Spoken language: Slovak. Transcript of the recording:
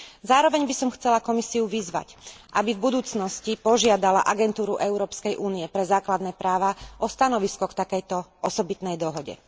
Zároveň by som chcela Komisiu vyzvať, aby v budúcnosti požiadala Agentúru Európskej únie pre základné práva o stanovisko k takejto osobitnej dohode.